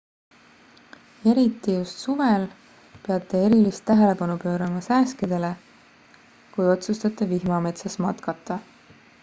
eriti just suvel peate erilist tähelepanu pöörama sääskedele kui otsustate vihmametsas matkata